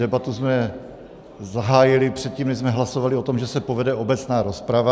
Debatu jsme zahájili předtím, než jsme hlasovali o tom, že se povede obecná rozprava.